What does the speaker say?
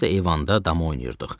Biz də eyvanda dama oynayırdıq.